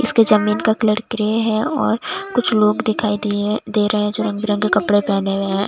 इसके जमीन का कलर ग्रे है और कुछ लोग दिखाई दिए दे रहे दे रहे हैं जो रंग बिरंगे कपड़े पहने हुए हैं।